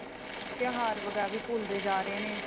ਤਿਉਹਾਰ ਵਗੈਰਾ ਵੀ ਭੁੱਲਦੇ ਜਾ ਰਹੇ ਨੇ